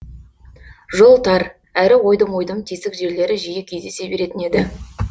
жол тар әрі ойдым ойдым тесік жерлері жиі кездесе беретін еді